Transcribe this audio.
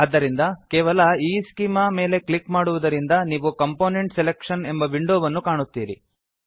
ಆದ್ದರಿಂದ ಕೇವಲ ಈಸ್ಚೆಮಾ ಮೇಲೆ ಕ್ಲಿಕ್ ಮಾಡುವುದರಿಂದ ನೀವು ಕಾಂಪೋನೆಂಟ್ ಸೆಲೆಕ್ಷನ್ ಕಂಪೊನೆಂಟ್ ಸೆಲೆಕ್ಷನ್ ಎಂಬ ವಿಂಡೋವನ್ನು ಕಾಣುತ್ತೀರಿ